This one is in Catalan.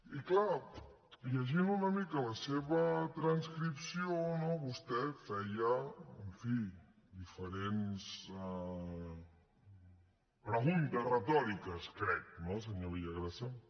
i clar llegint una mica la seva transcripció no vostè feia en fi diferents preguntes retòriques crec senyor villagrasa